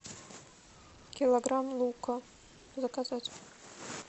килограмм лука заказать